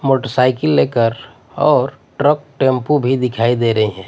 Motorcycle लेकर और truck tempo भीं दिखाई दे रहीं हैं।